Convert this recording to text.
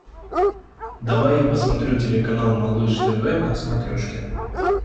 давай я посмотрю телеканал малыш тв на смотрешке